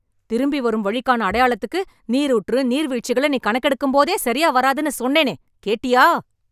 திரும்பி வரும் வழிக்கான அடையாளத்துக்கு, நீரூற்று, நீர் வீழ்ச்சிகளை நீ கணக்கெடுக்கும்போதே, சரியா வராதுன்னு சொன்னேனே.. கேட்டியா...